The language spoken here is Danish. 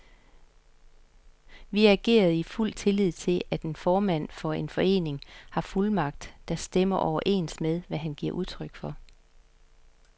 Vi agerede i fuld tillid til, at en formand for en forening har fuldmagt, der stemmer overens med, hvad han giver udtryk for.